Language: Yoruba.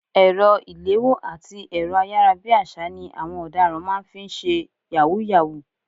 Ẹ̀rọ ìléwọ́ àti ẹ̀rọ ayárabíàṣá ni àwọn ọ̀daràn máa ń fi ń ṣe yahoo yahoo.